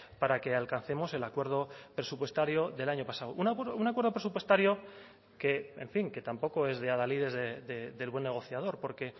para que alcancemos el acuerdo presupuestario del año pasado un acuerdo presupuestario que en fin que tampoco es de adalides del buen negociador porque